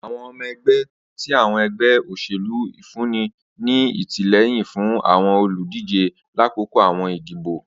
Awọn ọmọ ẹgbẹ ti awọn ẹgbẹ oselu nfunni ni atilẹyin fun awọn oludije lakoko awọn idibo.